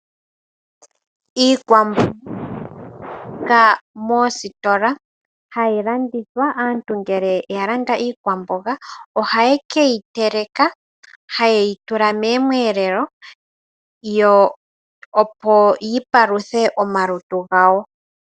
Iikwamboga oha yi adhika moositola, hayi landithwa. Aantu ngele oya landa iikwamboga moositola ohaye ke yi teleka taye yi tula miiyelelwa, opo yi paluthe omalutu gawo.